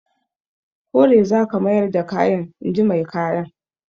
Kore za ka mayar da kayan! in ji mai kayan.